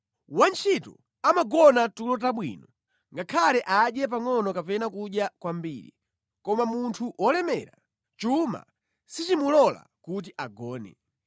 Wantchito amagona tulo tabwino ngakhale adye pangʼono kapena kudya kwambiri, koma munthu wolemera, chuma sichimulola kuti agone.